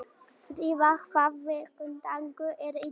Fríða, hvaða vikudagur er í dag?